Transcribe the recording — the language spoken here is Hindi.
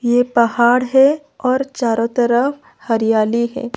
ये पहाड़ है और चारों तरफ हरियाली है।